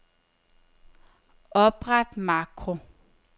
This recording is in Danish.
Opret makro.